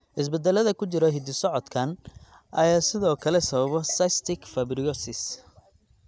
Isbeddellada ku jira hidda-socodkan ayaa sidoo kale sababa cystic fibrosis.